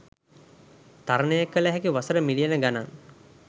තරනය කල හැකි වසර මිලියන ගනන්